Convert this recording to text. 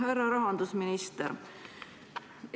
Härra rahandusminister!